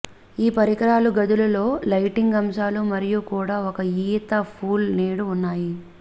ఈ పరికరాలు గదులు లో లైటింగ్ అంశాలు మరియు కూడా ఒక ఈత పూల్ నేడు ఉన్నాయి